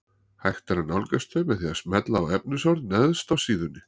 Hægt er að nálgast þau með því að smella á efnisorð neðst á síðunni.